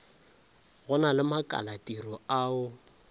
go na le makalatiro ao